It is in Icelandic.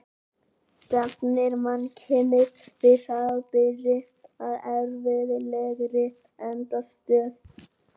Stefnir mannkynið þá hraðbyri að erfðafræðilegri endastöð?